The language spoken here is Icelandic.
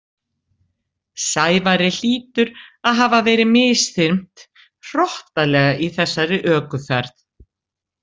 Sævari hlýtur að hafa verið misþyrmt hrottalega í þessari ökuferð.